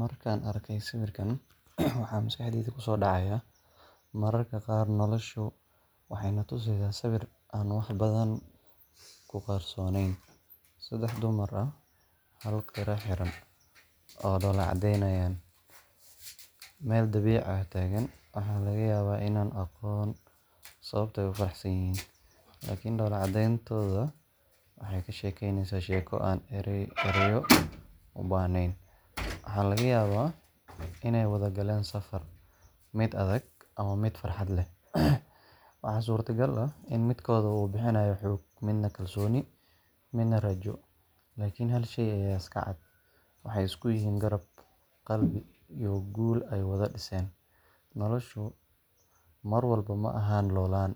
Markaan arko sawirkaan waxaa maskaxdeyda kusoo dhacayaa mararka qaar nolosha waxay na tusisaa sawir aan wax badan ku qarsoonayn saddex dumar ah, hal qira xiran, oo dhoolla caddeynaya, meel dabiici ah taagan. Waxaa laga yaabaa inaanan aqoon sababta ay u faraxsan yihiin laakiin dhoolla caddeyntooda waxay ka sheekeynaysaa sheeko aan erayo u baahnayn. Waxaa laga yaabaa inay wada galeen safar mid adag ama mid farxad leh. Waxaa suurtagal ah in midkood uu bixinayo xoog, midna kalsooni, midna rajo. Laakiin hal shay ayaa iska cad waxay isku yihiin garab, qalbi, iyo guul ay wada dhiseen. Noloshu mar walba ma aha loollan,